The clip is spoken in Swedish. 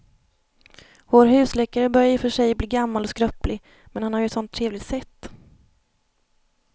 Vår husläkare börjar i och för sig bli gammal och skröplig, men han har ju ett sådant trevligt sätt!